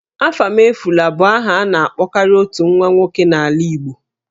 Ahamefula' bụ aha a na-akpọkarị otu nwa nwoke n'ala Igbo